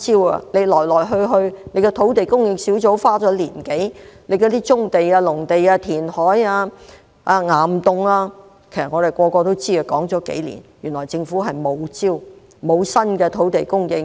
土地供應專責小組花了1年多的時間，有關棕地、農地、填海、岩洞的建議，其實所有人都知道，這些建議已說了幾年，原來政府沒有招，沒有新的土地供應策略。